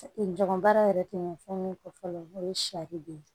Jɔgɔn baara yɛrɛ tɛ ɲɛ fɛn min kɔ fɔlɔ o ye saribɔn ye